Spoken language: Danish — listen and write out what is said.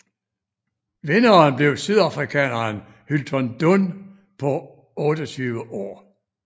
Vinderen blev sydafrikaneren Hylton Dunn på 28 år